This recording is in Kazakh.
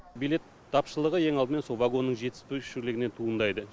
билет тапшылығы ең алдымен сол вагонның жетіспеушілігінен туындайды